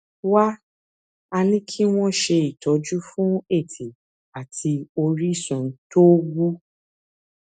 wá a ní kí wón ṣe ìtọjú fún ètè àti orísun tó wú